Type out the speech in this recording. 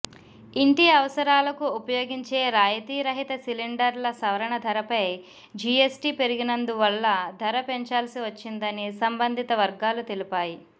ఇంటి అవసరాలకు ఉపయోగించే రాయితీరహిత సిలిండర్ల సవరణ ధరపై జీఎస్టీ పెరిగినందువల్ల ధర పెంచాల్సి వచ్చిందని సంబంధిత వర్గాలు తెలిపాయి